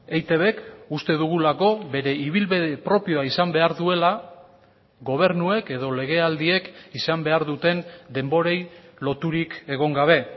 eitbk uste dugulako bere ibilbide propioa izan behar duela gobernuek edo legealdiek izan behar duten denborei loturik egon gabe